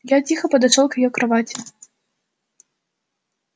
я тихо подошёл к её кровати